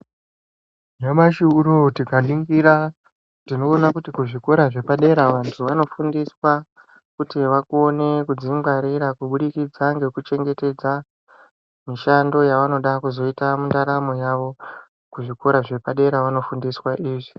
Nyamashi unou tikaningira tinoona kuti kuzvikora zvepadera vantu vanofundiswa kuti vakone kudzingwarira kubudikidza ngekuchengetedza mishando yavanoda kuzoita mundaramo yavo kuzvikora zvepadera vanofundiswa izvi.